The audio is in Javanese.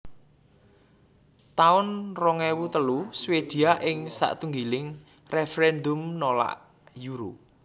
taun rong ewu telu Swedia ing satunggiling référèndum nolak Euro